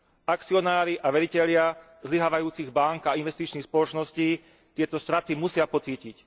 Akcionári a veritelia zlyhávajúcich bánk a investičných spoločností tieto straty musia pocítiť.